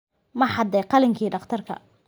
Ma xaday qalinkii dhakhtarka?